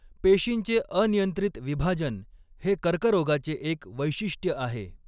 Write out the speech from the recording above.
पेशींचे अनियंत्रित विभाजन हे कर्करोगाचे एक वैशिष्ट्य आहे.